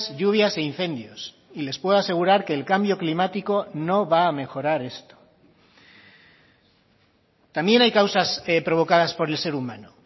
lluvias e incendios y les puedo asegurar que el cambio climático no va a mejorar esto también hay causas provocadas por el ser humano